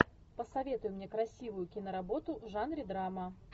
посоветуй мне красивую киноработу в жанре драма